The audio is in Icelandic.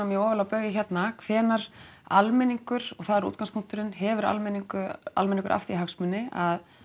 mjög ofarlega á baugi hérna hvenær almenningur og það er útgangspunkturinn hefur almenningur almenningur af því hagsmuni að